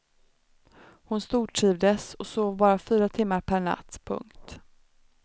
Hon stortrivdes och sov bara fyra timmar per natt. punkt